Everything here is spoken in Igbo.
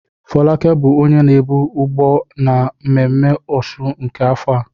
Folake bụ onye na-ebu Ugba na mmemme òsùn nke afọ a.